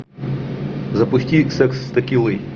запусти секс с текилой